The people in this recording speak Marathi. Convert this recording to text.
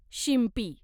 शिंपी